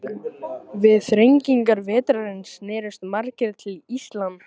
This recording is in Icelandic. Við þrengingar vetrarins snerust margir til íslam.